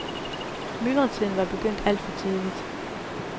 Myldretiden var begyndt alt for tidligt.